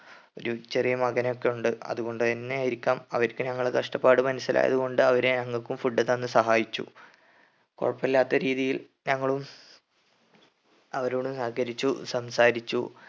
ഒരു ചെറിയ മകനൊക്കെ ഉണ്ട് അതു കൊണ്ട് തന്നെ ആയിരിക്കാം അവർക്ക് ഞങ്ങളെ കഷ്ടപ്പാട് മനസ്സിലായതു കൊണ്ട് അവര് ഞങ്ങക്കും food തന്ന് സഹായിച്ചു കൊഴപ്പില്ലാത്ത രീതിയിൽ ഞങ്ങളും അവരോട് സഹകരിച്ചു സംസാരിച്ചു